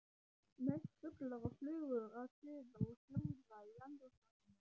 Mest fuglar og flugur að suða og hljóða í andrúmsloftinu.